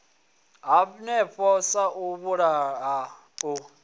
hanefho sa u vhulaha u